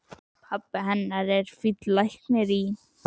Pabbi hennar er fínn læknir í